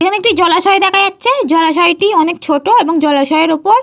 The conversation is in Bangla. এখানে একটি জলাশয় দেখা যাচ্ছে। জলাশয়টি অনেক ছোট এবং জলাশয়ের ওপর।